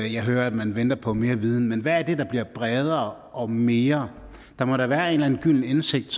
jeg hører at man venter på mere viden men hvad er det der bliver bredere og mere der må da være en eller anden gylden indsigt